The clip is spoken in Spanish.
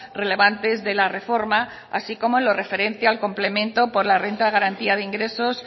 relevantes de la reforma así como lo referente al complemento por la renta de garantía de ingresos